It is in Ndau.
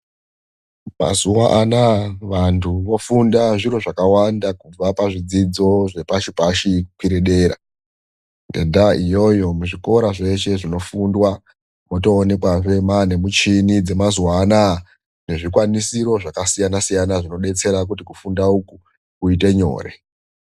Mazuva anawa vandu vofunda zviro zvakawanda kubva pazvidzidzo zvepashi pashi kukwire dera. Ngendaa iyoyo muzvikora zveshe zvinofundwa motoonekwazve maane muchini dzemazuva anaa nezvikwanisiro zvakasiyana-siyana zvinodetsera kuti kufunda uku koite nyore.